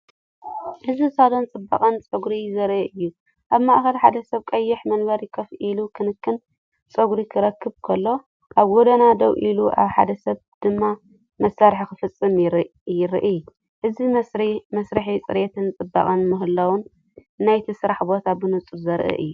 እዚ ሳሎን ጽባቐን ጸጉርን ዘርኢ እዩ። ኣብ ማእከል ሓደ ሰብ ኣብ ቀይሕ መንበር ኮፍ ኢሉ ክንክን ጸጉሩ ክረክብ ከሎ፡ኣብ ጎድኑ ደውኢሉ ሓደ ሰብ ድማ መስርሕ ክፍጽም ይረአ። እዚመስርሕ ጽሬትን ጽባቐ ምሕላውን ናይቲ ስራሕ ቦታ ብንጹር ዘርኢ እዩ።